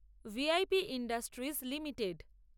V I P industries limited